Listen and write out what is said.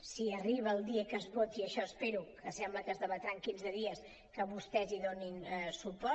si arriba el dia que es voti això espero que sembla que es debatrà en quinze dies que vostès hi donin suport